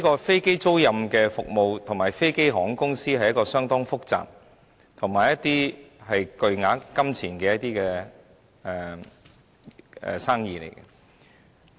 飛機租賃服務與飛機航空公司是一門相當複雜業務，並涉及巨額金錢。